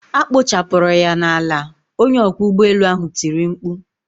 A kpochapụrụ ya n'ala!onye ọkwọ ụgbọelu ahụ tiri mkpu.